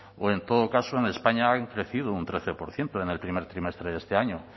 o en todo caso en españa han crecido un trece por ciento en el primer trimestre de este año